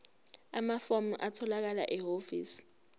amafomu atholakala ehhovisi